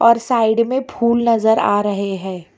और साइड में फूल नजर आ रहे हैं।